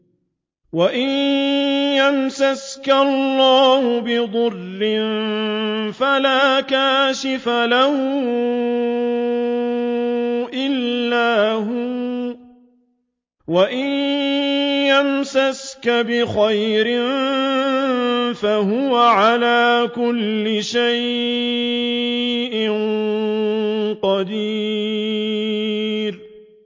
وَإِن يَمْسَسْكَ اللَّهُ بِضُرٍّ فَلَا كَاشِفَ لَهُ إِلَّا هُوَ ۖ وَإِن يَمْسَسْكَ بِخَيْرٍ فَهُوَ عَلَىٰ كُلِّ شَيْءٍ قَدِيرٌ